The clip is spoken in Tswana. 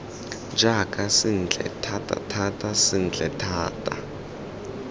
jaaka sentle thatathata sentle thata